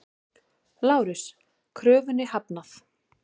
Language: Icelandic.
LÁRUS: Kröfunni hafnað!